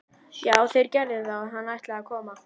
Já, þeir gerðu það og hann ætlaði að koma.